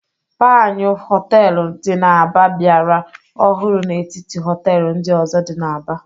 Panyụ Họteelụ dị n'Aba biara ọhụrụ n'etiti họtel ndị ọzọ. dị n'Aba.